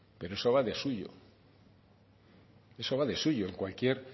pero eso va de suyo eso va de suyo en cualquier